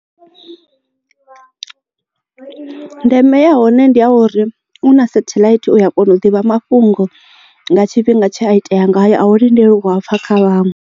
Ndeme ya hone ndi a uri u na satellite uya kona u ḓivha mafhungo nga tshifhinga tshe a itea ngayo a u lindeli u a pfha kha vhaṅwe.